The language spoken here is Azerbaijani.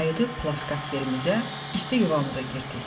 Qayıdıb plaskart yerimizə, isti yuvamıza girdik.